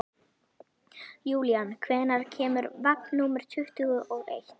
Júlían, hvenær kemur vagn númer tuttugu og eitt?